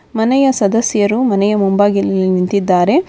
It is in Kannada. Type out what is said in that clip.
ಮನೆಯ ಸದಸ್ಯರು ಮನೆಯ ಮುಂಭಾಗಿಲಿನಲ್ಲಿ ನಿಂತಿದ್ದಾರೆ.